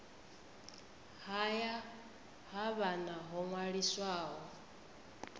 haya ha vhana ho ṅwaliswaho